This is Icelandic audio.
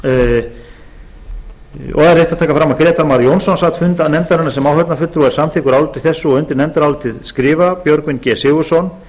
grétar mar jónsson sat fund nefndarinnar sem áheyrnarfulltrúi og er samþykkur áliti þessu undir nefndarálitið skrifa björgvin g sigurðsson